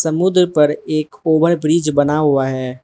समुद्र पर एक ओवर ब्रिज बना हुआ है।